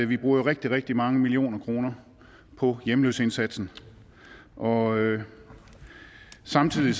vi bruger rigtig rigtig mange millioner kroner på hjemløseindsatsen og samtidig